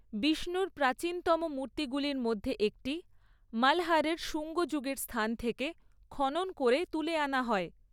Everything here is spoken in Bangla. বিষ্ণুর প্রাচীনতম মূর্তিগুলির মধ্যে একটি মল্‌হারের সুঙ্গ যুগের স্থান থেকে খনন করে তুলে আনা হয়।